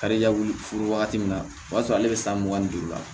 Kariya wuli wagati min na o b'a sɔrɔ ale bɛ san mugan ni duuru la